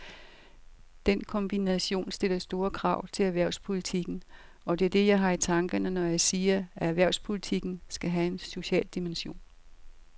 Den kombination stiller store krav til erhvervspolitikken, og det er det, jeg har i tankerne, når jeg siger, at erhvervspolitikken skal have en social dimension.